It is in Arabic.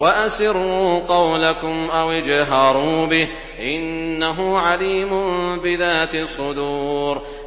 وَأَسِرُّوا قَوْلَكُمْ أَوِ اجْهَرُوا بِهِ ۖ إِنَّهُ عَلِيمٌ بِذَاتِ الصُّدُورِ